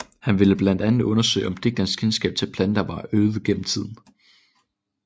Han ville blandt andet undersøge om digternes kendskab til planter var øget gennem tiden